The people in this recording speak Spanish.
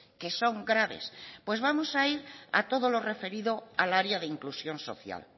que son graves pues vamos a ir a todo lo referido al área de inclusión social